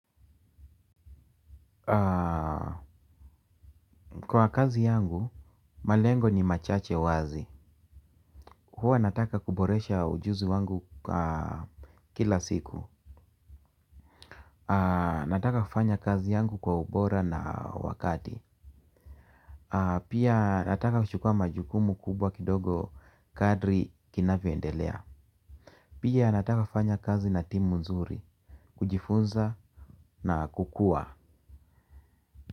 Kwa kazi yangu, malengo ni machache wazi. Huwa nataka kuboresha ujuzi wangu kila siku. Nataka kufanya kazi yangu kwa ubora na wakati. Pia nataka kuchukua majukumu kubwa kidogo kadri kinavyoendelea. Pia nataka kufanya kazi na timu nzuri, kujifunza na kukua.